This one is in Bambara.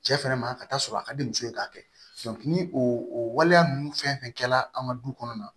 Cɛ fɛnɛ ma ka taa sɔrɔ a ka di muso ye k'a kɛ ni o waleya ninnu fɛn fɛn kɛla an ka du kɔnɔna na